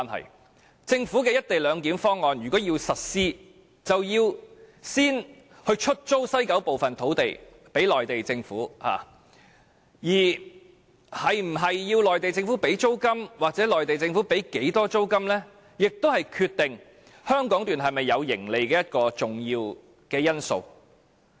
如果政府要實施"一地兩檢"方案，便要先把西九部分土地租給內地政府，而內地政府需否支付租金或會繳付多少租金，是決定香港段會否有盈利的重要因素。